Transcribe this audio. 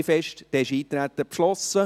Damit ist das Eintreten beschlossen.